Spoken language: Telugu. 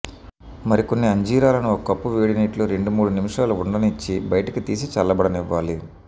మరికొన్ని అంజీరాలను ఒక కప్పు వేడినీటిలో రెండు మూడు నిమిషాలు ఉండనిచ్చి బయటకి తీసి చల్లబడనివ్వాలి